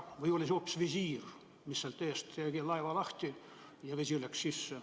Või oli see hoopis visiir, mis sealt eest tegi laeva lahti ja vesi tungis sisse?